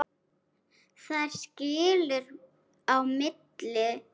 Þar skilur á milli.